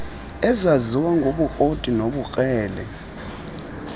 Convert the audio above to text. ezaziwa ngobukroti nobukrele